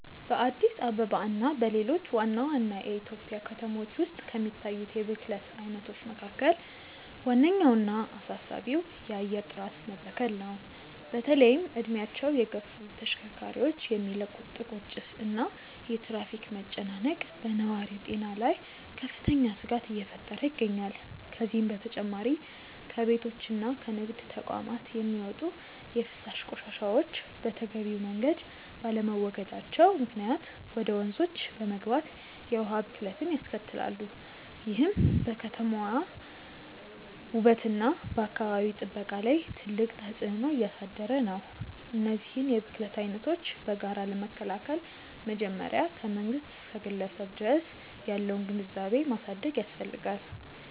በአዲስ አበባ እና በሌሎች ዋና ዋና የኢትዮጵያ ከተሞች ውስጥ ከሚታዩት የብክለት አይነቶች መካከል ዋነኛውና አሳሳቢው የአየር ጥራት መበከል ነው። በተለይም እድሜያቸው የገፉ ተሽከርካሪዎች የሚለቁት ጥቁር ጭስ እና የትራፊክ መጨናነቅ በነዋሪው ጤና ላይ ከፍተኛ ስጋት እየፈጠረ ይገኛል። ከዚህም በተጨማሪ ከቤቶችና ከንግድ ተቋማት የሚወጡ የፍሳሽ ቆሻሻዎች በተገቢው መንገድ ባለመወገዳቸው ምክንያት ወደ ወንዞች በመግባት የውሃ ብክለትን ያስከትላሉ፤ ይህም በከተማዋ ውበትና በአካባቢ ጥበቃ ላይ ትልቅ ተጽዕኖ እያሳደረ ነው። እነዚህን የብክለት አይነቶች በጋራ ለመከላከል መጀመሪያ ከመንግስት እስከ ግለሰብ ድረስ ያለውን ግንዛቤ ማሳደግ ያስፈልጋል።